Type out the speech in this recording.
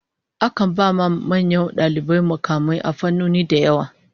Akan ba manyan dalibai mukamai a fannoni da yawa.